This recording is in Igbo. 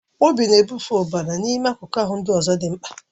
Obi na-ebufe ọbara n'ime akụkụ ahụ ndị dị mkpa